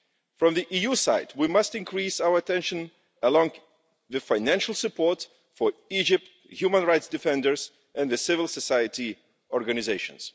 From the EU side, we must increase our attention along with financial support for Egypt's human rights defenders and civil society organisations.